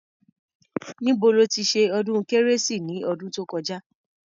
Níbo lo ti ṣe ọdún kérésì ni ọdún tó kọjá?